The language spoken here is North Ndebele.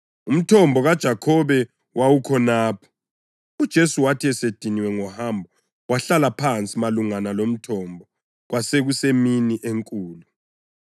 Umthombo kaJakhobe wawukhonapho, uJesu wathi esediniwe ngohambo, wahlala phansi malungana lomthombo. Kwakusemini enkulu.